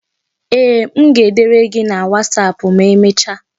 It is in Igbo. Ee, m ga-edere gị na wasapụ ma emecha.